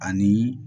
Ani